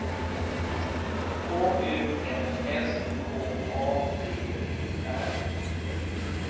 K U N S K A P E R